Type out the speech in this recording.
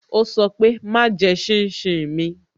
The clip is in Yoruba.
Ó sọ pé "Má jẹ́ shin shin mi"